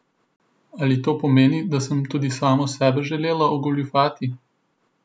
Ali to pomeni, da sem tudi samo sebe želela ogoljufati?